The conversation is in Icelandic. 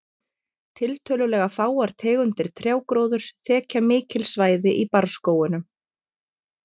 Tiltölulega fáar tegundir trjágróðurs þekja mikil svæði í barrskógunum.